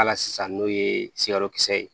Hali sisan n'o ye sirakisɛ ye